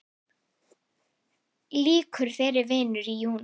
Lýkur þeirri vinnu í júní.